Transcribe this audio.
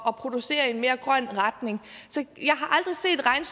at producere i en mere grøn retning